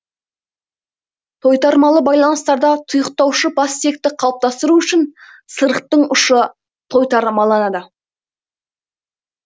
тойтармалы байланыстарда тұйықтаушы бастиекті қалыптастыру үшін сырықтың ұшы тойтармаланады